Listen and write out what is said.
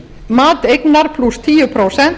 mat eignar tíu prósent